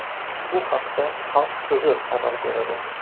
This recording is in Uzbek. Bu haqda Xalq so‘zi xabar beradi .